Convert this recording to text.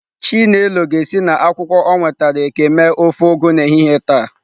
Chinelo ga-esi na akwukwo o nwetara eke mee ofe Ugu n'ehihie taa.